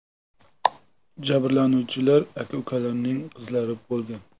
Jabrlanuvchilar aka-ukalarning qizlari bo‘lgan.